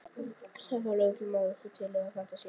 Sagði þá lögreglumaðurinn: Þú telur það að þetta sé?